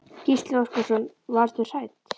Gísli Óskarsson: Varðstu hrædd?